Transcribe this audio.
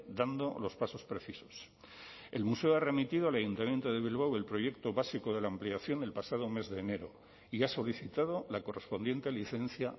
dando los pasos precisos el museo ha remitido al ayuntamiento de bilbao el proyecto básico de la ampliación el pasado mes de enero y ha solicitado la correspondiente licencia